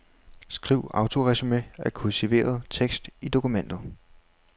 Skriv autoresumé af kursiveret tekst i dokumentet.